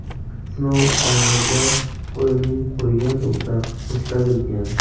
Sinov Alvorda ko‘lining qurigan tubida o‘tkazilgan.